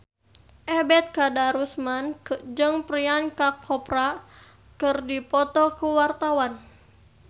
Ebet Kadarusman jeung Priyanka Chopra keur dipoto ku wartawan